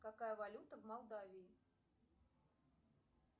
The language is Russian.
какая валюта в молдавии